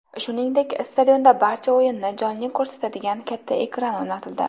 Shuningdek, stadionda barcha o‘yinni jonli ko‘rsatadigan katta ekran o‘rnatildi.